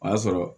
O y'a sɔrɔ